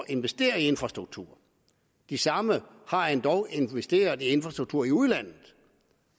investere i infrastrukturen de samme har endog investeret i infrastruktur i udlandet